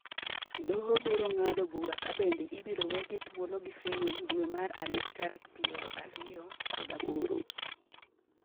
doho biro ng'ado bura ka bende ibiro wegi thuolo gi fain dwe mar adek tarik piero ariyo kod aboro